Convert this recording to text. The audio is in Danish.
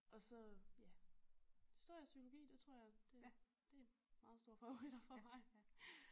Og så ja historie og psykologi det tror jeg det det meget store favoritter for mig